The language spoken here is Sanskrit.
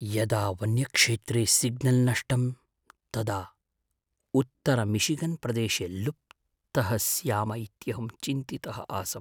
यदा वन्यक्षेत्रे सिग्नल् नष्टं तदा उत्तरमिशिगन्प्रदेशे लुप्तः स्याम इत्यहं चिन्तितः आसम्।